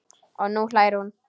Og nú hlær hún.